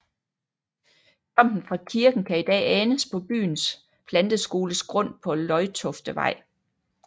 Tomten fra kirken kan i dag anes på byens planteskoles grund på Løjtoftevej